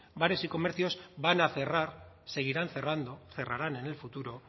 bares y comercios van a cerrar seguirán cerrando cerrarán en el futuro